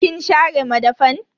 Kin share madafan?